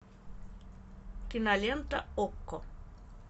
кинолента окко